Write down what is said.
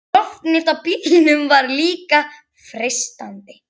Loftnet á bílum voru líka freistandi.